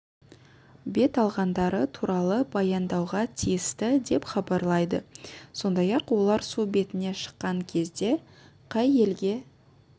бет алғандары туралы баяндауға тиісті деп хабарлайды сондай-ақ олар су бетіне шыққан кезде қай елге